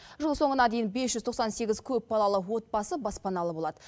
жыл соңына дейін бес жүз тоқсан сегіз көпбалалы отбасы баспаналы болады